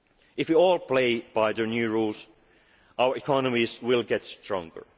the long run. If we all play by the new rules, our economies will